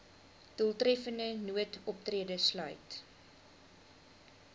doeltreffende noodoptrede sluit